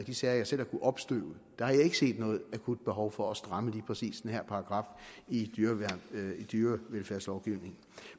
de sager jeg selv har kunnet opstøve har jeg ikke set noget akut behov for at stramme lige præcis den her paragraf i dyrevelfærdslovgivningen